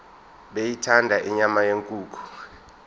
beyithanda inyama yenkukhu